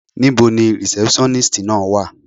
Níbo ni rìsẹ́pṣọ́nístì náà wà.